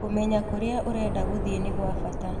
Kũmenya kũrĩa ũrenda gũthiĩ nĩ gwa bata.